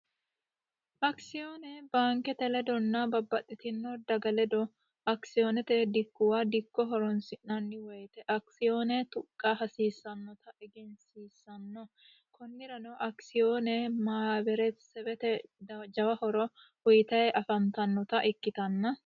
Akisiyoone baankete ledonna babbaxitino daga ledo akisiyoone tuqqa hasiissano konnirano akisiyoone mahaaberete lowo kaa'lo uyiitanni afantannota ikkitanna...